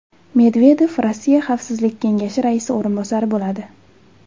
Medvedev Rossiya Xavfsizlik kengashi raisi o‘rinbosari bo‘ladi.